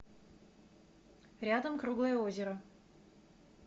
рядом круглое озеро